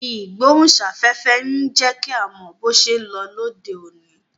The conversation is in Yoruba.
Ìgbóhùn sáfẹ́fẹ́ ń jẹ́ kí a mọ bó ṣé ń lọ lóde òní